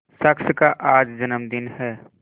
शख्स का आज जन्मदिन है